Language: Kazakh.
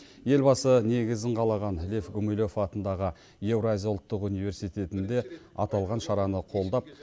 елбасы негізін қалаған лев гумилев атындағы еуразия ұлттық университетінде аталған шараны қолдап